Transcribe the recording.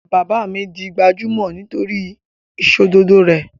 Bàbá mi di gbajúmọ̀ nítori ìsòdodo rẹ̀